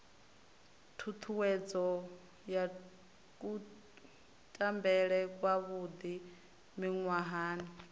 ṱhuṱhuwedzo ya kutambele kwavhuḓi miṅwahani